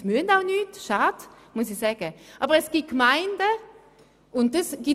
Sie sind nicht gezwungen, etwas zu machen, was eigentlich schade ist.